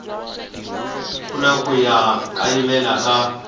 ku na ku kayivela ka